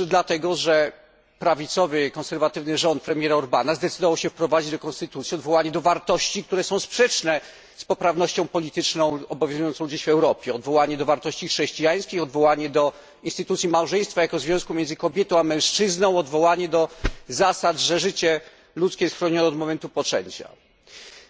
Otóż dlatego, że prawicowy konserwatywny rząd premiera Orbána zdecydował się wprowadzić do konstytucji odwołanie do wartości, które są sprzeczne z poprawnością polityczną obowiązującą dziś w Europie odwołanie do wartości chrześcijańskich, odwołanie do instytucji małżeństwa jako związku między kobietą a mężczyzną, odwołanie do zasady, że życie ludzkie jest chronione od momentu poczęcia.